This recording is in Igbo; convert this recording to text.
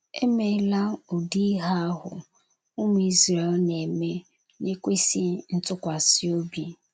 Emela ụdị ihe ahụ ụmụ Izrel na - eme n'ekwesịghị ntụkwasị obi.